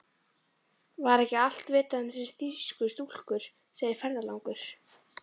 Var ekki allt vitað um þessar þýsku stúlkur, segir ferðalangur.